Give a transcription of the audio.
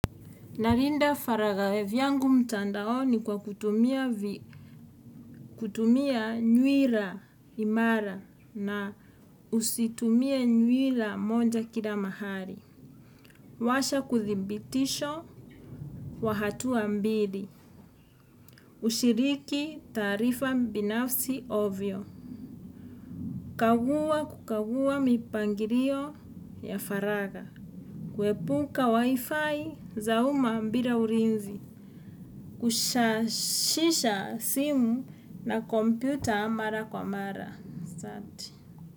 Narinda faragawev yangu mtandaoni kwa kutumia, nyuila imara na usitumie nyuila monja kila mahali. Washa kuthibitisho, wa hatua mbili. Ushiriki taarifa binafsi ovyo. Kaguwa kukaguwa mipangirio, ya faraga. Kwepuka wifi za uma mbira urinzi. Kushashisha, simu na kompyuta mara kwa mara. Santi.